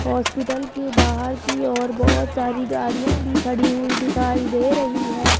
Hospital के बाहर की ओर बहोत सारी गाड़ियां भी खड़ी हुई दिखाई दे रही है।